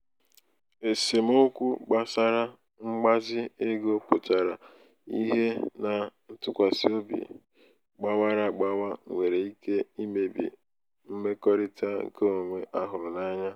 esemokwu gbasara mgbazi ego pụtara ihe na ntụkwasị obi gbawara agbawa nwere ike imebi mmekọrịta nke onwe a hụrụ anya.